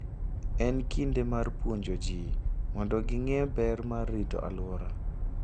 En kinde mar puonjo ji mondo ging'e ber mar rito alwora.